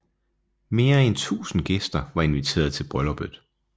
Mere end 1000 gæster var inviteret til brylluppet